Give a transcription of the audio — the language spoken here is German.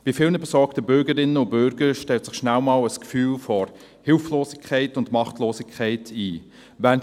Bei vielen besorgten Bürgerinnen und Bürgern stellt sich schnell einmal ein Gefühl der Hilflosigkeit und Machtlosigkeit ein.